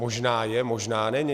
Možná je, možná není.